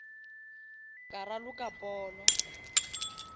ka raloka polo